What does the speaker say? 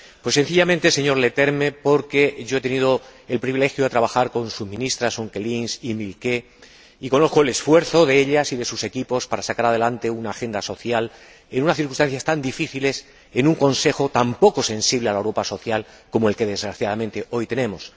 Sencillamente, señor Leterme, porque he tenido el privilegio de trabajar con sus ministras, las señoras Onkelinx y Milquet, y conozco el esfuerzo de ellas y de sus equipos para sacar adelante una agenda social en unas circunstancias tan difíciles y en un Consejo tan poco sensible a la Europa social como el que desgraciadamente hoy tenemos.